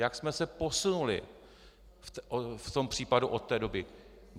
Jak jsme se posunuli v tom případu od té doby?